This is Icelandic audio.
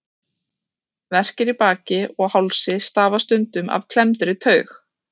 Verkir í baki og hálsi stafa stundum af klemmdri taug.